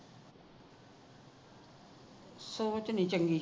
ਸੋਚ ਨਹੀ ਚੰਗੀ